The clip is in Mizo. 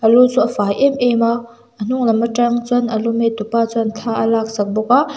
lu chu a fai em em a hnunglam a tang chuan a lu met tu pa chuan thla a laksak bawk a.